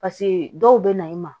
Paseke dɔw bɛ na i ma